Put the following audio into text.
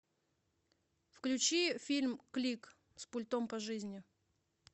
включи фильм клик с пультом по жизни